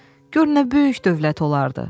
gör nə böyük dövlət olardı.